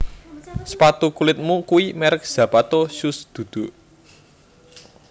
Sepatu kulitmu kui merk Zapato Shoes dudu